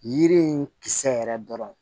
Yiri in kisɛ yɛrɛ dɔrɔn